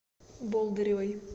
болдыревой